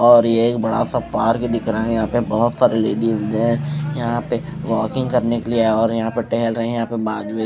और ये एक बड़ा सा पार्क दिख रहे है यहां पे बहोत सारे लेडिज है यहां पे वॉकिंग करने के लिए और यहां पे टेहेल रहे है यहां पे बाद --